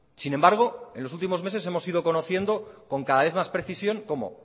sin embargo en los últimos meses hemos sido conociendo con cada vez más precisión cómo